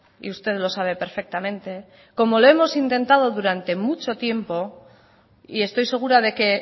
y usted lo sabe perfectamente como lo hemos intentado durante mucho tiempo y estoy segura de que